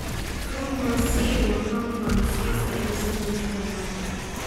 Croque monsieur waa ham Faransiis ah iyo sandwich farmaajo ah.